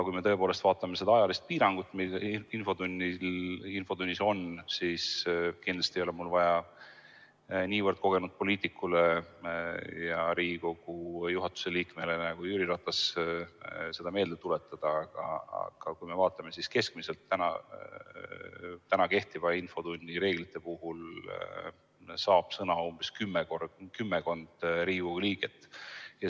Kui me vaatame seda piirangut ajalist, mis infotunnis küsimisel on – kindlasti ei ole mul seda vaja niivõrd kogenud poliitikule ja Riigikogu juhatuse liikmele nagu Jüri Ratas seda meelde tuletada –, siis keskmiselt saab kehtivate infotunnireeglite puhul sõna kümmekond Riigikogu liiget.